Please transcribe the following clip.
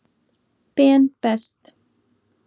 Ben Best.